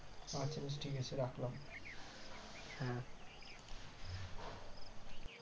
আচ্ছা আচ্ছা ঠিক আছে রাখলাম